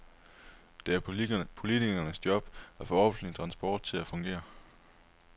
Det er politikernes job at få offentlig transport til at fungere.